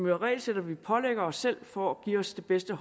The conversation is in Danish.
jo regelsæt vi pålægger os selv for at give os det bedste